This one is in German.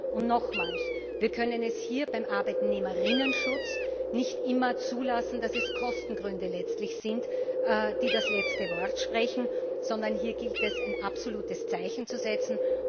Und nochmals Wir können es hier beim Arbeitnehmerinnenschutz nicht immer zulassen, dass es Kostengründe sind, die das letzte Wort sprechen, sondern hier gilt es, ein absolutes Zeichen zu setzen.